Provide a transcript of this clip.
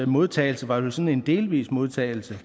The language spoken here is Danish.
modtagelse var vel sådan en delvis modtagelse